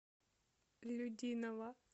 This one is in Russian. людиново